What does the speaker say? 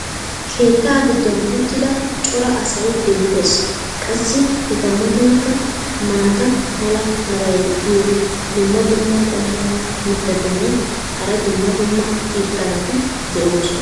keettaa giddon uttida cora asay beetees qassi eta matankka maata mala meray diyo dumma dumma qommo mitattinne hara dumma dumma irxxabati de'oosona.